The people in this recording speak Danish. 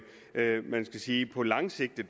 man kan sige på lang sigt vi